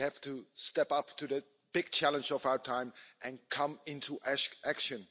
We have to step up to the big challenge of our time and come into action.